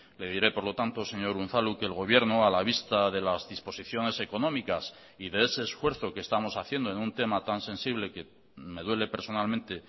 le diré por lo tanto señor unzalu que el gobierno a la vista de las disposiciones económicas y de ese esfuerzo que estamos haciendo en un tema tan sensible que me duele personalmente